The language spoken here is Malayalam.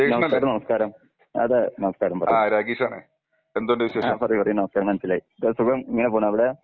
നമസ്കാരം നമസ്കാരം. അതെ നമസ്കാരം പറയ്. ആ പറയ് പറയ് നമസ്കാരം മനസ്സിലായി. എന്താ സുഖം ഇങ്ങനെ പോണു അവിടെ?